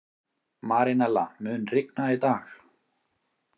Marínella, mun rigna í dag?